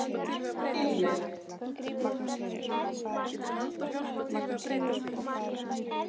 Dýrleif